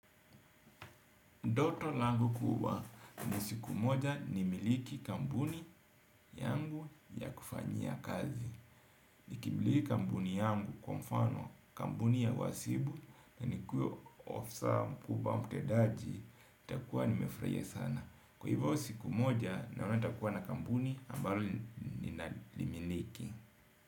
Ndoto langu kubwa ni siku moja nimiliki kambuni yangu ya kufanyia kazi. Nikimiliki kambuni yangu kwa mfano kambuni ya uwasibu na nikue ofsaa mkubwa mtedaji, nitakua nimefraia sana. Kwa hivyo siku moja naona nitakuwa na kambuni ambalo ninaliminiki.